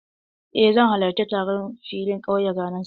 Eh, zan halarci taron filin ƙauya ranar Sallah.